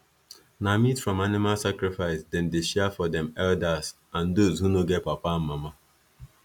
na meat from animal sacrifice them dey share for them elders and those who no get papa and mama